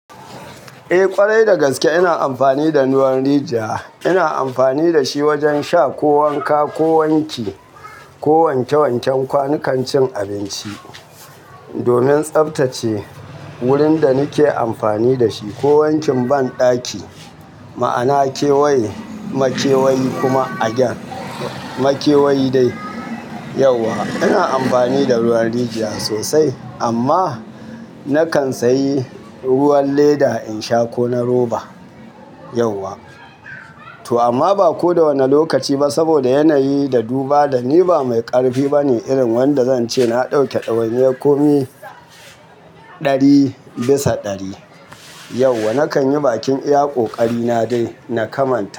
Eh ƙwarai dagaske ina amfani da ruwan rijiya. Ina amfani da shi wajen sha ko wanka ko wanki, ko wanke wanken kwanukan cin abinci. Domin tsaftace wurin da nake amfani da shi ko wankin banɗaki. Ma'ana kewaye makewayi kuma a gen. Makewayi dai. Yauwa ina amfani da ruwan rijiya sosai amma nakan sayi ruwan leda in sha ko na roba. To amma ba ko da wane lokaci ba saboda yanayi da duba da ni ba mai ƙarfi bane irin wanda zan ce na ɗauke ɗawainiyar komi ɗari bisa ɗari. Yauwa nakan yi bakin iya ƙoƙari na dai na kamanta.